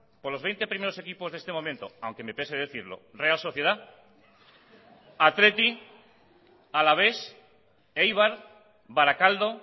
por los veinte primeros equipos de este momento aunque me pese decirlo real sociedad athletic alavés eibar barakaldo